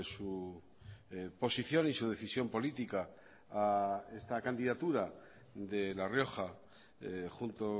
su posición y su decisión política a esta candidatura de la rioja junto